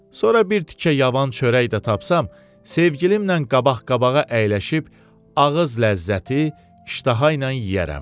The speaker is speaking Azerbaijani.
Sonra bir tikə yavan çörək də tapsam, sevgilimlə qabaq-qabağa əyləşib, ağız ləzzəti, iştahailə yeyərəm.